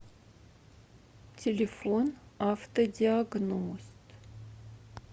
телефон автодиагност